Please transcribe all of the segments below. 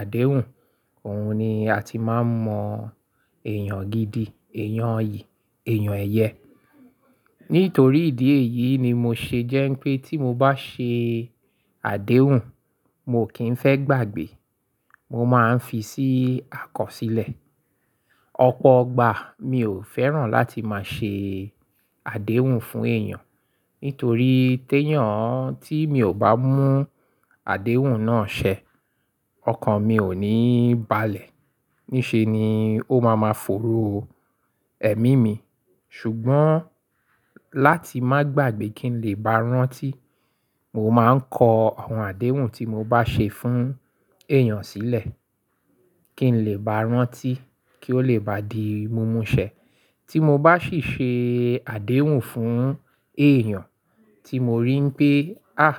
àdéhùn, òun ni a ti máa ń mọ èèyàn gidi, èèyàn iyì, èèyàn ẹyẹ. Nítorí ìdí èyí ni mo ṣe jẹ́ pé tí mo bá ṣe àdéhùn, mo kì í fẹ́ gbàgbé. Mo máa ń fi sí àkọsílẹ̀. Ọ̀pọ̀ ọgbà mi ò fẹ́ràn láti máa ṣe àdéhùn fún èèyàn. Nítorí téyàn tí mi ò bá mú àdéhùn náà ṣẹ, ọkàn mi ò ní balẹ̀. Níṣe ni ó máa ma fòòró ẹ̀mí mi. Ṣùgbọ́n láti má gbàgbé kí n lè bá rántí, mo máa ń kọ àwọn àdéhùn tí mo bá ṣe fún èèyàn sílẹ̀ kí n lè bá rántí kí ó lè bá di mumu ṣẹ. Tí mo bá sì ṣe àdéhùn fún èèyàn tí mo rí pé, áàh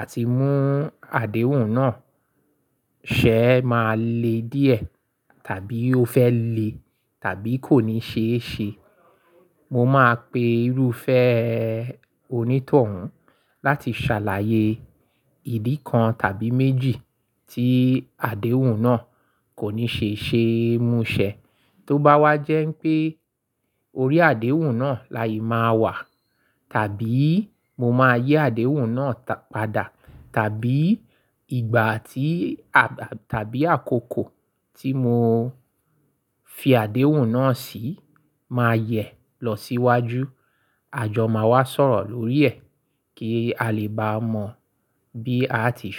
àti mú àdéhùn náà ṣẹ máa le díẹ̀ tàbí ó fẹ́ le tàbí kò ní ṣe é ṣe. Mo máa pe irúfẹ́ onítọ̀hún láti ṣàlàyé ìdí kan tàbí méjì tí àdéhùn náà kò ní ṣe ṣe mu ṣẹ. Tó bá wá jẹ́ pé orí àdéhùn náà láyii máa wà tàbí mo máa yii àdéhùn náà padà tàbí ìgbà tí àba tàbí àkókò tí mo fi àdéhùn náà sí máa yẹ lọ síwájú, àjọ máa wá sọ̀rọ̀ lórí ẹ̀ kí a lè bá mọ bí a ti ṣe.